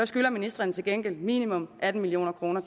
skylder ministrene til gengæld erhvervslivet minimum atten million kroner